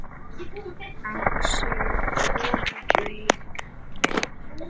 Á sér konu kæra ver.